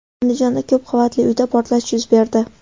Andijonda ko‘p qavatli uyda portlash yuz berdi.